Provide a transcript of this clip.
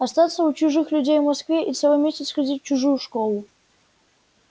остаться у чужих людей в москве и целый месяц ходить в чужую школу